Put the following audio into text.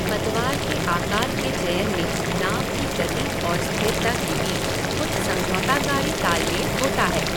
पतवार के आकार के चयन में नाव की गति और स्थिरता के बीच कुछ समझौताकारी तालमेल होता है।